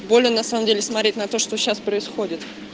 на самом деле смотреть на то что сейчас происходит